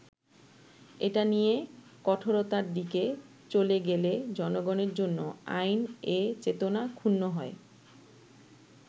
এটা নিয়ে কঠোরতার দিকে চলে গেলে জনগণের জন্য আইন এ চেতনা ক্ষুণ্ণ হয়”।